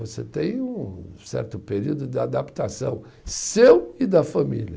Você tem um um certo período de adaptação seu e da família.